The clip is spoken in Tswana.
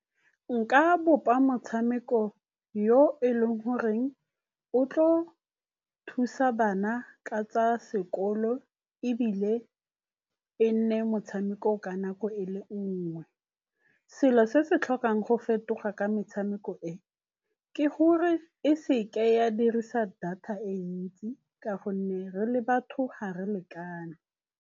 Nka bopa motshameko yo e leng goreng o tlo thusa bana ka tsa sekolo ebile e nne motshameko ka nako e e le nngwe. Selo se se tlhokang go fetoga ka metshameko e, ke gore e seke ya dirisa data e ntsi ka gonne re le batho ga re lekane.